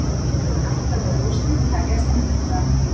Átta liða úrslitin hefjast á miðvikudag